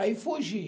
Aí fugi.